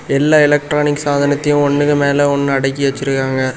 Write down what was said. எல்லா எலக்ட்ரானிக்ஸ் சாதனத்தையும் ஒன்னுக்கு மேல ஒன்னு அடுக்கு வச்சிருக்காங்க.